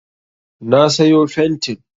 Na sayo fentin